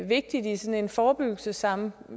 vigtigt i en forebyggelsessammenhæng